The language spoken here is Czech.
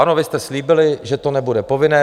Ano, vy jste slíbili, že to nebude povinné.